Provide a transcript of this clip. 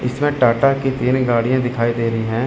इसमें टाटा की तीन गाड़ियां दिखी दे रही हैं।